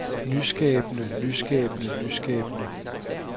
nyskabende nyskabende nyskabende